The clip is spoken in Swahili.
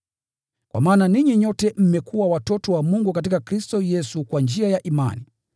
Kwa maana ninyi nyote mmekuwa watoto wa Mungu katika Kristo Yesu kwa njia ya imani.